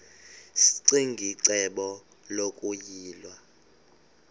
ccinge icebo lokuyilwa